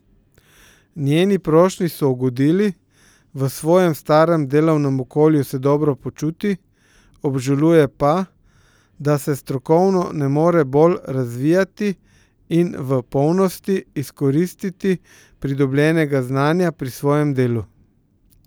Njeni prošnji so ugodili, v svojem starem delovnem okolju se dobro počuti, obžaluje pa, da se strokovno ne more bolj razvijati in v polnosti izkoristiti pridobljenega znanja pri svojem delu.